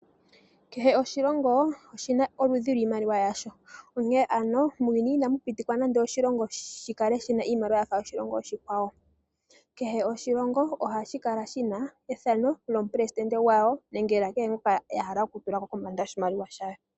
Kehe oshilongo oshina oludhi lwiimaliwa yasho. Onkene ano muuyuni inamu pitikwa nando oshilongo shi kale shina iimaliwa yafa yoshilongo oshikwawo. Kehe oshilongo ohashi kala shina ethano lyomupelesidente washo nenge kehe ngoka ya hala oku tulako kombanda yoshimaliwa shawo.